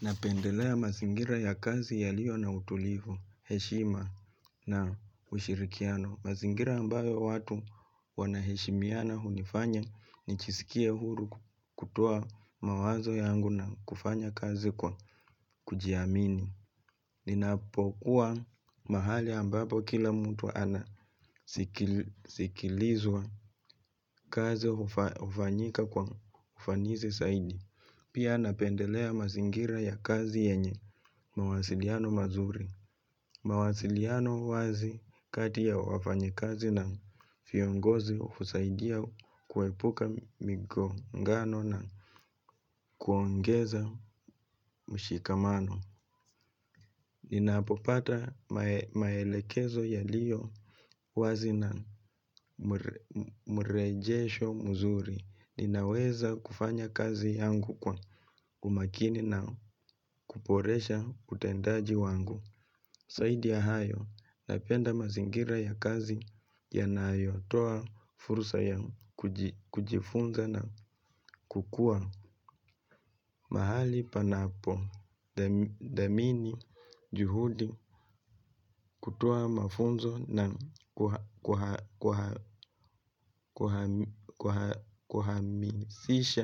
Napendelea mazingira ya kazi yaliyo na utulivu, heshima na ushirikiano. Mazingira ambayo watu wanaheshimiana hunifanya ni jisikie huru kutoa mawazo yangu na kufanya kazi kwa kujiamini. Ninapokuwa mahali ambapo kila mtu anasikilizwa, kazi hufanyika kwa ufanisi zaidi. Pia napendelea mazingira ya kazi yenye mawasiliano mazuri. Mawasiliano wazi kati ya wafanyakazi na viongozi husaidia kuepuka migongano na kuongeza mshikamano. Ninapopata maelekezo yaliyo wazi na mrejesho mzuri. Ninaweza kufanya kazi yangu kwa umakini na kuboresha utendaji wangu zaidi ya hayo napenda mazingira ya kazi yanayotoa fursa ya kujifunza na kukua mahali panapo dhamini juhudi, kutoa mafunzo na kuhamasisha